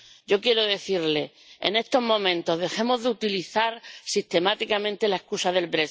Yo quiero decirle en estos momentos dejemos de utilizar sistemáticamente la excusa del